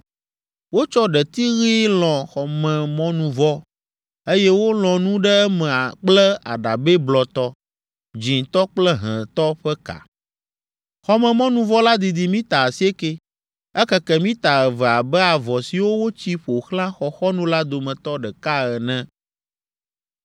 Wotsɔ ɖeti ɣi lɔ̃ xɔmemɔnuvɔ, eye wolɔ̃ nu ɖe eme kple aɖabɛ blɔtɔ, dzĩtɔ kple hẽtɔ ƒe ka. Xɔmemɔnuvɔ la didi mita asieke. Ekeke mita eve abe avɔ siwo wotsi ƒo xlã xɔxɔnu la dometɔ ɖeka ene.